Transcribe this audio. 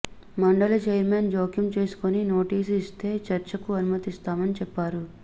మండలి చైర్మన్ జోక్యం చేసుకుని నోటీసు ఇస్తే చర్చకు అనుమతిస్తానని చెప్పారు